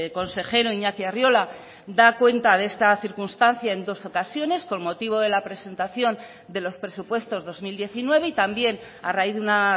consejero iñaki arriola da cuenta de esta circunstancia en dos ocasiones con motivo de la presentación de los presupuestos dos mil diecinueve y también a raíz de una